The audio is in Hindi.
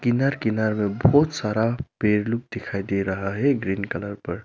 किनार किनार में बहुत सारा पेड़ लोग दिखाई दे रहा है ग्रीन कलर पर।